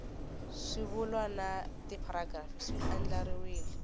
swivulwa na tipharagirafu swi andlariwile